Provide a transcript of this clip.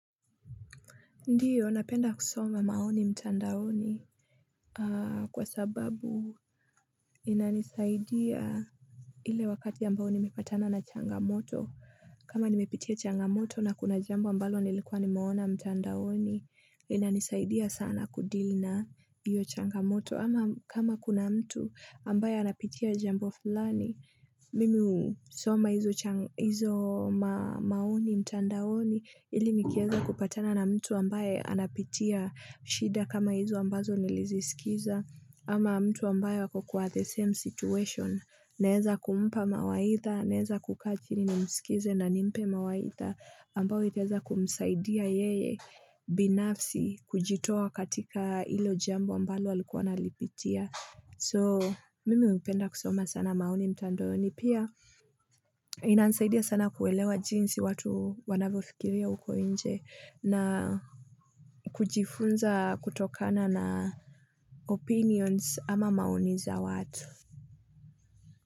Ndiyo, napenda kusoma maoni mtandaoni kwa sababu inanisaidia ile wakati ambao nimepatana na changamoto. Kama nimepitia changamoto na kuna jambo ambalo nilikuwa nimeona mtandaoni, inanisaidia sana kudili na iyo changamoto. Ama kama kuna mtu ambaye anapitia jambo fulani, mimi soma hizo maoni, mtandaoni, ili nikieza kupatana na mtu ambaye anapitia shida kama hizo ambazo niliziskiza. Ama mtu ambayo wako kwa the same situation Neeza kumupa mawaidha, naeza kukaachini na msikize na nimpe mawaidha ambao iteza kumsaidia yeye binafsi kujitowa katika ilo jambo ambalo alikuwa nalipitia So mimi upenda kusoma sana maoni mtandaoni ni pia inanisaidia sana kuelewa jinsi watu wanavyo fikiria uko inje na kujifunza kutokana na opinions ama maoniza watu.